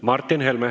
Martin Helme.